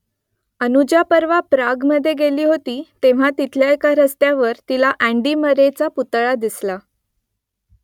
अनुजा परवा प्रागमधे गेली होती तेव्हा तिथल्या एका रस्त्यावर तिला अँडी मरेचा पुतळा दिसला